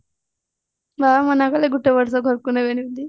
ବାବା ମନା କଲେ ଗୋଟେ ବର୍ଷ ଘରକୁ ନେବେନି ଏମତି